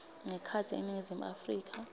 ngekhatsi eningizimu afrika